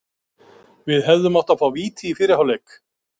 Við hefðum átt að fá víti í fyrri hálfleik.